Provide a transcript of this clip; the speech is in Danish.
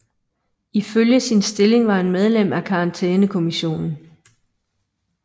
Ifølge sin stilling var han medlem af Karantænekommissionen